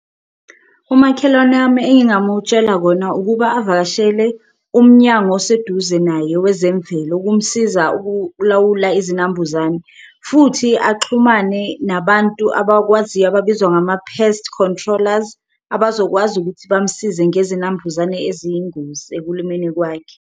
Umakhelwane wami engingamutshela kona ukuba avakashele umnyango oseduze naye wezemvelo ukumsiza ukulawula izinambuzane, futhi axhumane nabantu abakwaziyo ababizwa ngama-pest controllers. Abazokwazi ukuthi bamsize ngezinambuzane eziyingozi ekulimeni kwakhe.